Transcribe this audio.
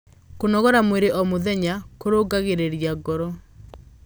kũnogora mwĩrĩ o mũthenya kurungaragirirĩa ngoro